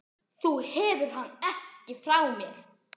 Þú hefur hann ekki frá mér.